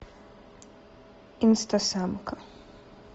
инста самка